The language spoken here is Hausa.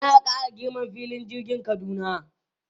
Za a ƙara girman filin jirgin Kaduna.